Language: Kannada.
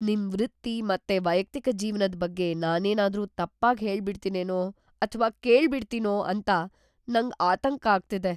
ನಿಮ್ ವೃತ್ತಿ ಮತ್ತೆ ವೈಯಕ್ತಿಕ ಜೀವ್ನದ್ ಬಗ್ಗೆ ನಾನೇನಾದ್ರೂ ತಪ್ಪಾಗ್‌ ಹೇಳ್ಬಿಡ್ತಿನೇನೋ ಅಥ್ವಾ ಕೇಳ್ಬಿಡ್ತೀನೋ ಅಂತ ನಂಗ್‌ ಆತಂಕ ಆಗ್ತಿದೆ.